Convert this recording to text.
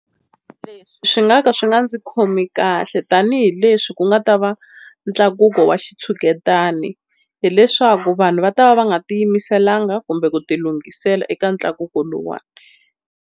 Leswi swi nga ka swi nga ndzi khomi kahle tanihileswi ku nga ta va ntlakuko wa xitshuketani, hileswaku vanhu va ta va va nga ti yimiselanga kumbe ku tilunghisela eka ntlakuko lowuwani.